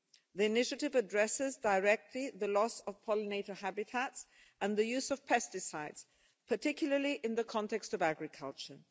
The initiative addresses directly the loss of pollinator habitats and the use of pesticides, particularly in the context of agriculture.